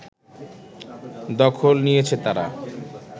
দখল নিয়েছে তারা